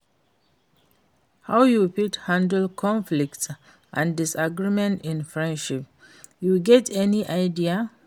How you fit handle conflicts and disagreement in friendship, you get any idea?